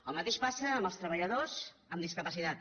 el mateix passa amb els treballadors amb discapacitat